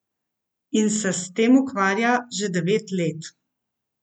In se s tem ukvarja že devet let.